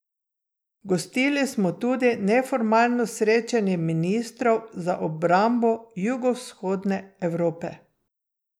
Gostili smo tudi neformalno srečanje ministrov za obrambo Jugovzhodne Evrope.